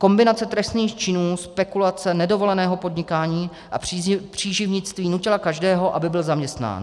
Kombinace trestných činů spekulace, nedovoleného podnikání a příživnictví nutila každého, aby byl zaměstnán.